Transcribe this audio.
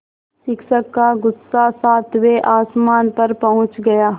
शिक्षक का गुस्सा सातवें आसमान पर पहुँच गया